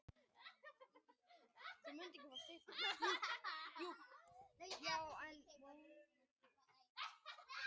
Magnús Sverrir Þorsteinsson jafnaði metin fyrir Suðurnesjamenn á síðustu mínútu í venjulegum leiktíma.